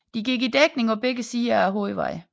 De gik i dækning på begge sider af hovedvejen